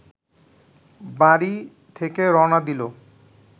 বাড়ি থেকে রওনা দিল